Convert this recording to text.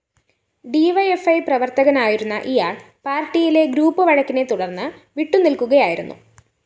D യ്‌ ഫ്‌ E പ്രവര്‍ത്തകനായിരുന്ന ഇയാള്‍ പാര്‍ട്ടിയിലെ ഗ്രൂപ്പ്‌ വഴക്കിനെ തുടര്‍ന്ന് വിട്ടുനില്‍ക്കുകയായിരുന്നു